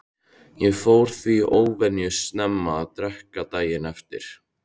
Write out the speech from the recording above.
Ég fór því óvenju snemma að drekka daginn eftir.